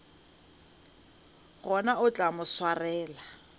gona o tla mo swarela